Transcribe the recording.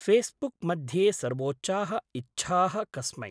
Facebook मध्ये सर्वोच्चाः इच्छाः कस्मै?